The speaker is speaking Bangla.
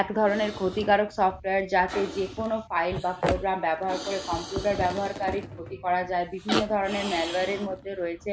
এক ধরনের ক্ষতিকারক software যাতে যেকোনো file বা program ব্যবহার করে computer ব্যবহারকারীর ক্ষতি করা যায় বিভিন্ন ধরনের malware এর মধ্যে রয়েছে